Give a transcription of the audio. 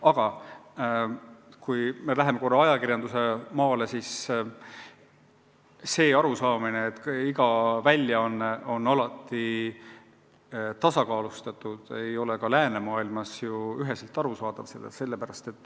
Aga kui me juba ajakirjanduse mängumaale läksime, siis märgin, et arusaamine, et iga väljaanne olgu alati tasakaalustatud, ei ole läänemaailmas nii üheselt valdav.